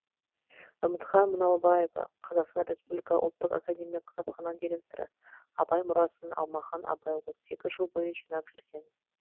үмітхан мұналбаева қазақстан республика ұлттық академиялық кітапхана директоры абай мұрасын алмахан апай отыз екі жыл бойы жинап жүрген